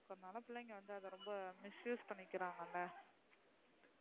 பிள்ளைங்க வந்து அத ரொம்ப misuse பண்ணிகிராங்கள,